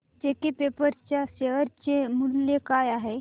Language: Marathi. जेके पेपर च्या शेअर चे मूल्य काय आहे